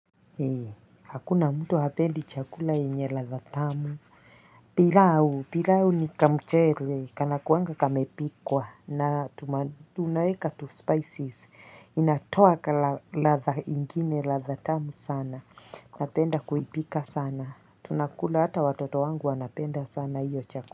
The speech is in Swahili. Hei, hakuna mtu hapendi chakula yenye ladha tamu, pilau, pialu ni kamchele, kana kuwanga kamepikwa, na tunaeka tu spices, inatoa kala ladha ingine ladha tamu sana, napenda kuipika sana, tunakula hata watoto wangu wanapenda sana hiyo chakula.